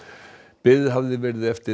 beðið hafði verið eftir